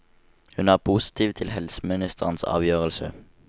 Hun er positiv til helseministerens avgjørelse.